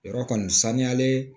Yɔrɔ kɔni saniyalen